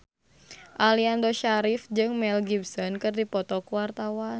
Aliando Syarif jeung Mel Gibson keur dipoto ku wartawan